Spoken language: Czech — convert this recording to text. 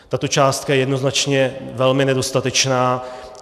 Tato částka je jednoznačně velmi nedostatečná.